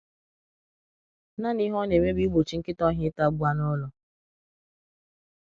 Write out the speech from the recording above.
Nanị ihe ọ na-eme bụ igbochi nkịta ọhịa ịtagbu anụ ụlọ.